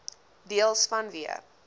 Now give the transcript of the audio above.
deels vanweë